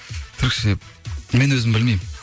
түрікше мен өзім білмеймін